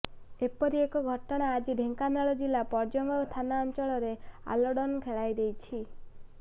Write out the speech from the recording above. ଏପରି ଏକ ଘଟଣା ଆଜି ଢେଙ୍କାନାଳ ଜିଲ୍ଲା ପର୍ଜଙ୍ଗ ଥାନା ଅଞ୍ଚଳରେ ଆଲୋଡ଼ନ ଖେଳାଇ ଦେଇଛି